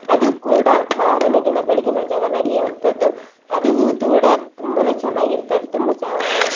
ಅದು ಕೂಡ ಮಾರನೆ ದಿನ ಬೆಳಿಗ್ಗಿನ ಜಾವ ನಡಿಯುವಂತದ್ದು ಅದು ಕೂಡ ತುಂಬಾನೇ ಚೆನ್ನಗಿರ್ತದೆ ತುಂಬ ಚ~ .